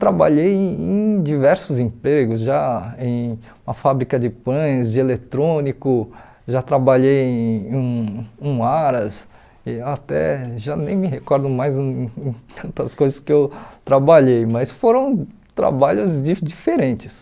Trabalhei em diversos empregos, já em uma fábrica de pães, de eletrônico, já trabalhei em um um haras, e até já nem me recordo mais em em tantas coisas que eu trabalhei, mas foram trabalhos di diferentes.